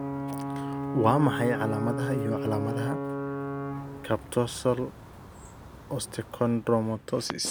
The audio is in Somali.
Waa maxay calaamadaha iyo calaamadaha Carpotarsal osteochondromatosis?